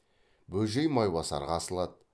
бөжей майбасарға асылады